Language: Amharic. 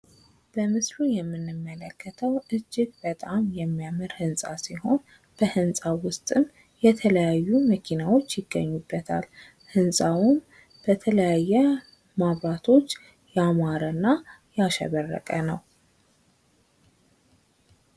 በምስሉ የምንመለከተው እጅግ በጣም የሚያምር ህንፃ ሲሆን ከህንፃው ውስጥም የተለያዩ መኪናዎች ይገኙበታል። ህንፃውም በተለያየ መብራቶች ያማረ እና ያሸበረቀ ነው።